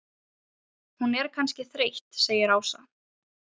Hún er kannski þreytt segir Ása.